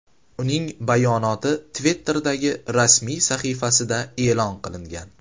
Uning bayonoti Twitter’dagi rasmiy sahifasida e’lon qilingan .